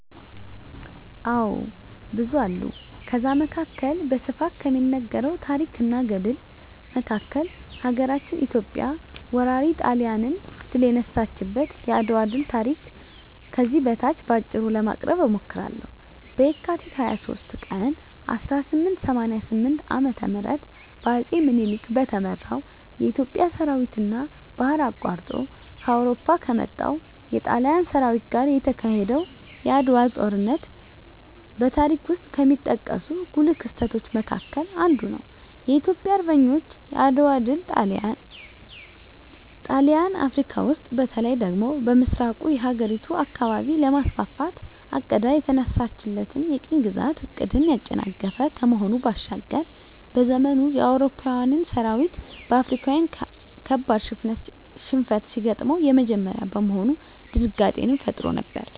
አዎ ብዙ አሉ ከዛ መካከል በስፋት ከሚነገረው ታረክ እና ገድል መካከል ሀገራችን ኢትዮጵያ ወራሪ ጣሊያንን ድል የነሳችበት የአድዋ ድል ታሪክ ከዚህ በታች በአጭሩ ለማቅረብ እሞክራለሁ፦ በካቲት 23 ቀን 1888 ዓ.ም በአጼ ምኒልክ በተመራው የኢትዮጵያ ሠራዊትና ባህር አቋርጦ ከአውሮፓ ከመጣው የጣሊያን ሠራዊት ጋር የተካሄደው የዓድዋው ጦርነት በታሪክ ውስጥ ከሚጠቀሱ ጉልህ ክስተቶች መካከል አንዱ ነው። የኢትዮጵያ አርበኞች የዓድዋ ድል ጣሊያን አፍረካ ውስጥ በተለይ ደግሞ በምሥራቁ የአህጉሪቱ አካባቢ ለማስፋፋት አቅዳ የተነሳችለትን የቅኝ ግዛት ዕቅድን ያጨናገፈ ከመሆኑ ባሻገር፤ በዘመኑ የአውሮፓዊያን ሠራዊት በአፍሪካዊያን ካበድ ሽንፈት ሲገጥመው የመጀመሪያ በመሆኑ ድንጋጤንም ፈጥሮ ነበር።